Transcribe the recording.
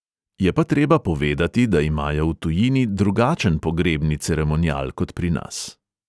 Je pa treba povedati, da imajo v tujini drugačen pogrebni ceremonial kot pri nas.